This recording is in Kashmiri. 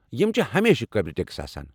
یم چھِ ہمیشہِ قٲبلہ ٹیكس آسان۔